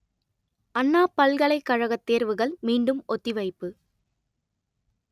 அண்ணா பல்கலைக்கழக தேர்வுகள் மீண்டும் ஒத்திவைப்பு